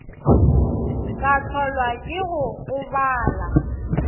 ka hlolwa ke go gobala